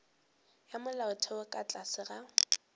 ya molaotheo ka tlase ga